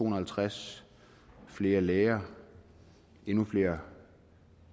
og halvtreds flere læger og endnu flere